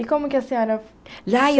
E como que a senhora